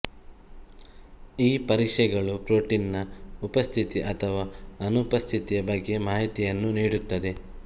ಈ ಪರೀಕ್ಷೆಗಳು ಪ್ರೋಟೀನ್ ನ ಉಪಸ್ಥಿತಿ ಅಥವಾ ಅನುಪಸ್ಥಿತಿಯ ಬಗ್ಗೆ ಮಾಹಿತಿಯನ್ನು ನೀಡುತ್ತದೆ